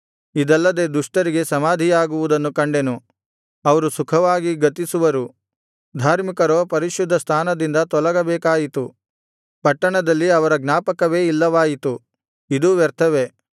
ಇದಲ್ಲದೆ ದುಷ್ಟರಿಗೆ ಸಮಾಧಿಯಾಗುವುದನ್ನು ಕಂಡೆನು ಅವರು ಸುಖವಾಗಿ ಗತಿಸುವರು ಧಾರ್ಮಿಕರೋ ಪರಿಶುದ್ಧ ಸ್ಥಾನದಿಂದ ತೊಲಗಬೇಕಾಯಿತು ಪಟ್ಟಣದಲ್ಲಿ ಅವರ ಜ್ಞಾಪಕವೇ ಇಲ್ಲವಾಯಿತು ಇದೂ ವ್ಯರ್ಥವೇ